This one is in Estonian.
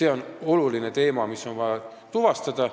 See on oluline asi, mis on vaja tuvastada.